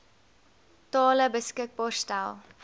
tale beskikbaar stel